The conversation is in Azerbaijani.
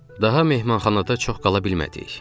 Daha mehmanxanada çox qala bilmədik.